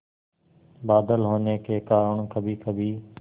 बादल होने के कारण कभीकभी